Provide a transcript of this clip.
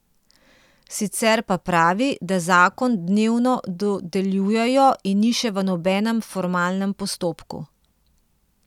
Sicer pa pravi, da zakon dnevno dodeljujejo in ni še v nobenem formalnem postopku.